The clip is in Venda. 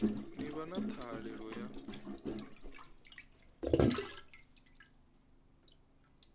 ḓi vha na ṱhahelelo ya